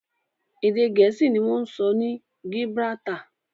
Èdè Gẹ̀ẹ́sì ni wọ́n ń sọ ní Gibraltar